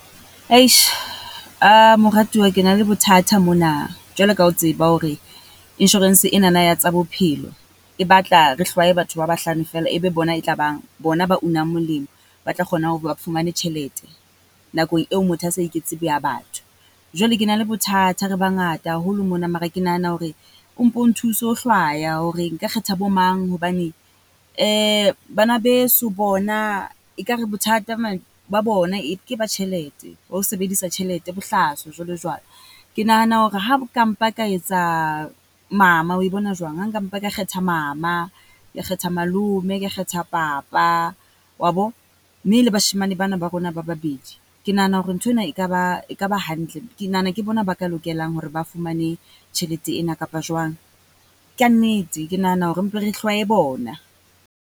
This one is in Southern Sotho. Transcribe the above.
Eish moratuwa ke na le bothata mona, jwalo ka o tseba hore insurance enana ya tsa bophelo e batla re hlwaye batho ba bahlano fela, e be bona e tla bang bona ba unang molemo. Ba tla kgonang ho ba fumane tjhelete nakong eo motho a sa iketse boya batho. Jwale ke na le bothata re bangata haholo mona, mare ke nahana hore o mpo o nthuse ho hlwaya hore nka kgetha bo mang hobane bana beso bona ekare bothata ba bona ke ba tjhelete. Ba ho sebedisa tjhelete bohlaswa jwalo jwalo, ke nahana hore ha ka mpha ka etsa mama oe bona jwang? Ha nka mpa ka kgetha mama, ka kgetha malome, ka kgetha papa wa bo? Mme le bashemane ba na ba rona ba babedi. Ke nahana hore nthwena e ka ba e ka ba hantle. Ke nahana hore ke bona ba ka lokelang hore ba fumane tjhelete ena kapa jwang? Kannete, ke nahana hore re mpe re hlwaye bona.